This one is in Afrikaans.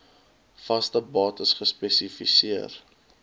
vaste bates spesifiseer